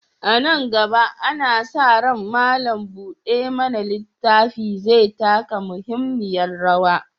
A nan gaba, ana sa ran malam buɗe mana littafi zai taka muhimmiyar rawa.